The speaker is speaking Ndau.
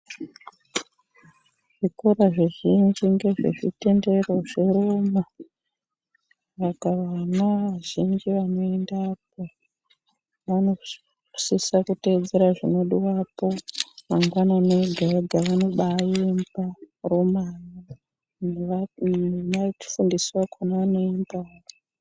Zvikora zvizhinji nge zvezvitendero zveroma saka vana vazhinji vanoendapo vanosisa kuteedzera zvinodiwapo mangwanani ega ega vanoba emba roma yo nevafundisi vakona vanoembawo.